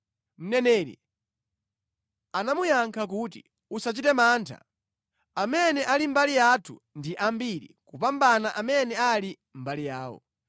Mneneri anamuyankha kuti, “Usachite mantha. Amene ali mbali yathu ndi ambiri kupambana amene ali mbali yawo.”